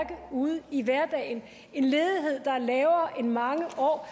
ude i hverdagen en ledighed der er lavere end i mange år er